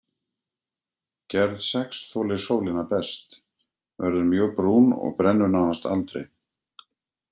Gerð sex þolir sólina best, verður mjög brún og brennur nánast aldrei.